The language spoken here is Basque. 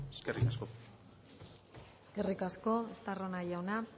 eskerrik asko eskerrik asko estarrona jauna